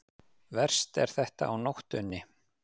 Verst er þetta á nóttunni.